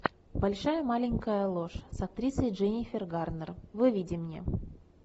большая маленькая ложь с актрисой дженнифер гарнер выведи мне